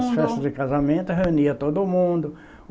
As festas de casamento, reunia todo mundo.